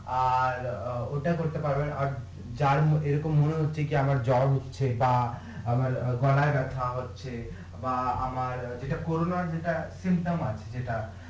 আর ওটা করতে পারবেন আর যার এরকম মনে হচ্ছে কি আমার জ্বর হচ্ছে বা আমার গলাই ব্যাথা হচ্ছে বা আমার যেটা